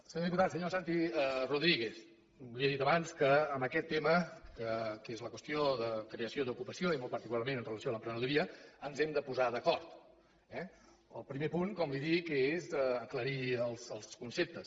senyor diputat senyor santi rodríguez li he dit abans que en aquest tema que és la qüestió de creació d’ocupació i molt particularment amb relació a l’emprenedoria ens hem de posar d’acord eh el primer punt com li dic és aclarir els conceptes